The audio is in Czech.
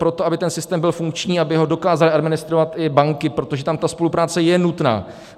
Proto, aby ten systém byl funkční, aby ho dokázaly administrovat i banky, protože tam ta spolupráce je nutná.